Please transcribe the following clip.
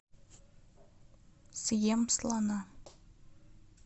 съем слона